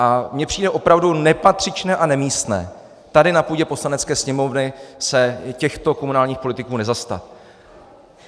A mně přijde opravdu nepatřičné a nemístné tady na půdě Poslanecké sněmovny se těchto komunálních politiků nezastat.